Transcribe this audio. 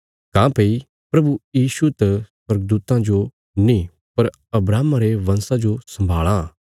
काँह्भई प्रभु यीशु त स्वर्गदूतां जो नीं पर अब्राहमा रे वंशां जो सम्भाल़ां